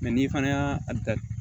n'i fana y'a a da